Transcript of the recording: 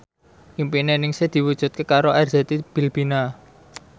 impine Ningsih diwujudke karo Arzetti Bilbina